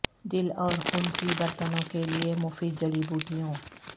دل اور خون کی برتنوں کے لئے مفید جڑی بوٹیوں